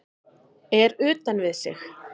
Er utan við sig